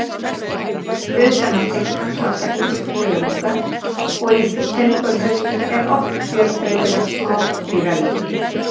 Utan á stilk hans vaxa ýmsir þörungar og í þöngulhausnum er oft fjölbreytilegt smádýralíf.